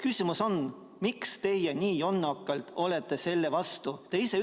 Küsimus on järgmine: miks te nii jonnakalt olete selle vastu?